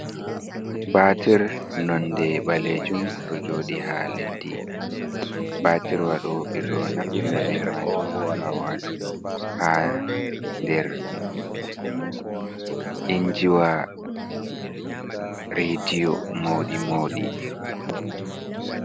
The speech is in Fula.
Batir nonde balejum do jodi ha leddi, batir wa ɗo ɓe ɗo naftira be majum ha watuo ha der injiwa radio mauɗi mauɗi.